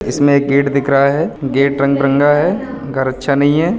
इसमें एक गेट दिख रहा है। गेट रंग-बिरंगा है। घर अच्छा नहीं है।